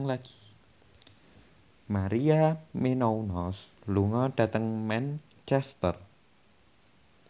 Maria Menounos lunga dhateng Manchester